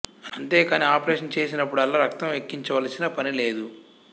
అంతే కాని ఆపరేషను చేసినప్పుడల్లా రక్తం ఎక్కించవలసిన పని లేదు